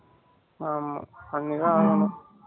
ஆமா பண்ணி தான் ஆகணும்.